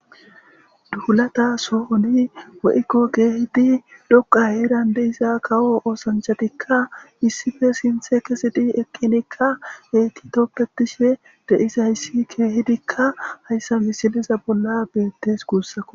duhulata sohoni weykko keehidi dhoqa herande isa kawo oosanchatikka issife sinthe kesidi eqqinikka heti toppetishe deisayssi keehidikka hayssa misiliza bolla beettes kuussako